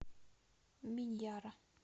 миньяра